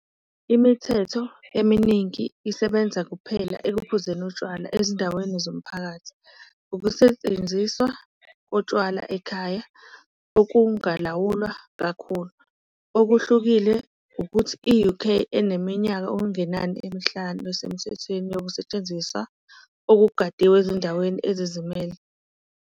Imithetho eminingi isebenza kuphela ekuphuzeni utshwala ezindaweni zomphakathi, ukusetshenziswa kotshwala ekhaya okungalawulwa kakhulu, okuhlukile ukuthi yi-UK, eneminyaka okungenani emihlanu esemthethweni yokusetshenziswa okugadiwe ezindaweni ezizimele.